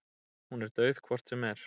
Hún er dauð hvort sem er.